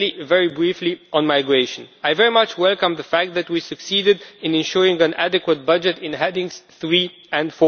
Very briefly on migration I very much welcome the fact that we succeeded in ensuring an adequate budget in Headings 3 and